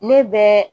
Ne bɛ